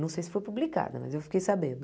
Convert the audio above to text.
Não sei se foi publicada, mas eu fiquei sabendo.